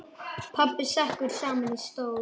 Pabbi sekkur saman í stól.